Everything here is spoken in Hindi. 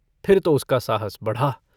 फिर तो उसका साहस बढ़ा।